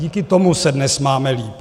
Díky tomu se dnes máme líp.